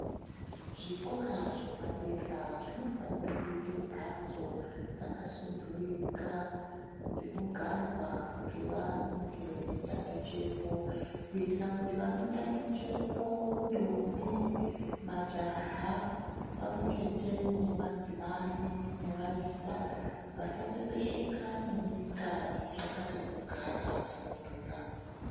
Zvikora zvepadera zvinofanire kuite mbatso dzakasudhurika dzinogarwa ngevanenge veitatichepo kuitira kuti vanotatichepo ntombi, majaha ,pamwechete nemadzimai nevayisa vasapepesheka nenyika veitsvaka pekugara panodhura